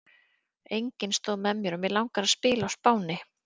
Enginn stóð með mér og mig langar að spila á Spáni.